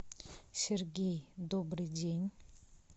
сергей добрый день